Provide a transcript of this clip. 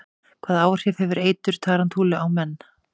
Hvaða áhrif hefur eitur tarantúlu á menn?